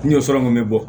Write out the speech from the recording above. N jɔ sira mun bɛ bɔ